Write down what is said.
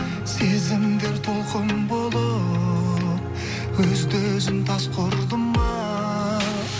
сезімдер толқын болып өзді өзін тасқа ұрды ма